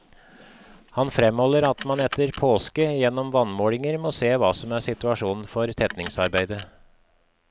Han fremholder at man etter påske gjennom vannmålinger må se hva som er situasjonen for tetningsarbeidet.